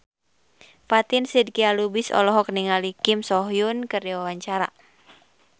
Fatin Shidqia Lubis olohok ningali Kim So Hyun keur diwawancara